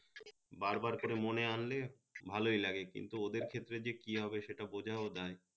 বার বার করে মনে আনলে ভালোই লাগে কিন্তু ওদের ক্ষেত্রে যে কি হবে সেটা বোঝাও দায়